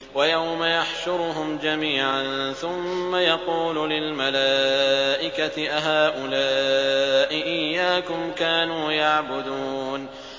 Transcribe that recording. وَيَوْمَ يَحْشُرُهُمْ جَمِيعًا ثُمَّ يَقُولُ لِلْمَلَائِكَةِ أَهَٰؤُلَاءِ إِيَّاكُمْ كَانُوا يَعْبُدُونَ